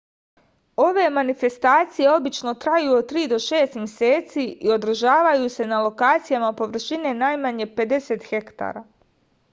ove manifestacije obično traju od tri do šest meseci i održavaju se na lokacijama površine najmanje 50 hektara